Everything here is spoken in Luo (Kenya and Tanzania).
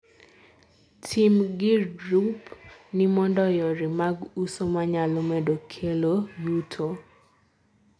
ti m gir drup ni mondo yore mag uso manyalo medo kelo yuto